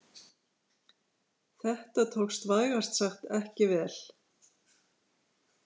Þetta tókst vægast sagt ekki vel.